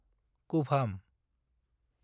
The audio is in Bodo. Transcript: कुभाम